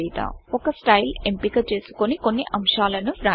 ఒక స్టైల్ ఎంపిక చేసుకొని కొన్ని అంశాలను వ్రాయండి